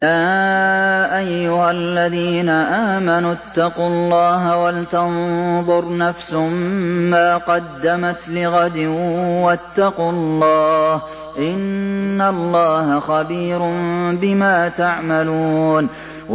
يَا أَيُّهَا الَّذِينَ آمَنُوا اتَّقُوا اللَّهَ وَلْتَنظُرْ نَفْسٌ مَّا قَدَّمَتْ لِغَدٍ ۖ وَاتَّقُوا اللَّهَ ۚ إِنَّ اللَّهَ خَبِيرٌ بِمَا تَعْمَلُونَ